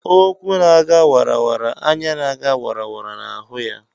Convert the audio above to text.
Ụkwụ na-aga wara wara, anya na-aga wara wara na-ahụ ya